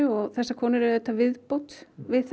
og þessar konur eru viðbót við